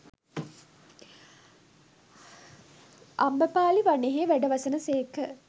අම්බපාලි වනයෙහි වැඩවසන සේක